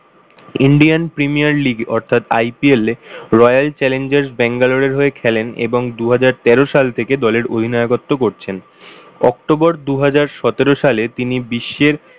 indian premier league অর্থাৎ IPL এ royal challenges Bangalore এর হয়ে খেলেন এবং দুহাজার তেরো সাল থেকে দলের অধিনায়কত্ব করছেন। october দুহাজার সতেরো সালে তিনি বিশ্বের